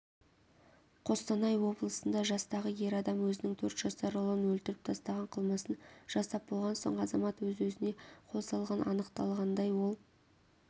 қостанай облысында жастағы ер адам өзінің төрт жасар ұлын өлтіріп тастаған қылмысын жасап болған соң азамат өз-өзіне қол салған анықталғандай ол